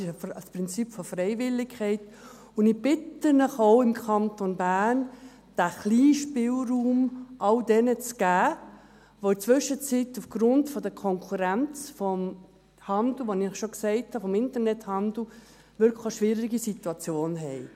Es ist ein Prinzip der Freiwilligkeit, und ich bitte Sie, diesen kleinen Spielraum auch im Kanton Bern all jenen zu geben, die in der Zwischenzeit aufgrund der Konkurrenz des Internethandels, wie ich schon gesagt habe, wirklich eine schwierige Situation haben.